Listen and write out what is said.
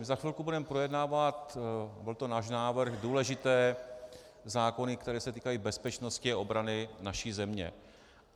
My za chvilku budeme projednávat - byl to náš návrh - důležité zákony, které se týkají bezpečnosti a obrany naší země.